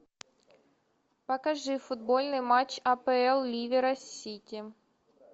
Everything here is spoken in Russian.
покажи футбольный матч апл ливера с сити